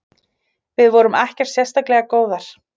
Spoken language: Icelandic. Við vorum ekkert sérstaklega góðar.